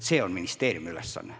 See on ministeeriumi ülesanne.